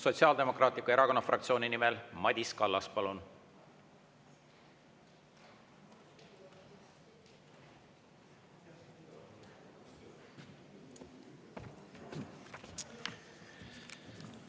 Sotsiaaldemokraatliku Erakonna fraktsiooni nimel Madis Kallas, palun!